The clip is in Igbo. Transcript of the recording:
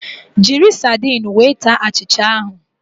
Jiri sardinu wee taa achịcha ahụ